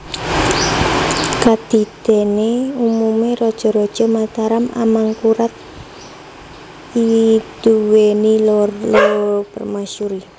Kadidéné umumé raja raja Mataram Amangkurat I nduwèni loro permaisuri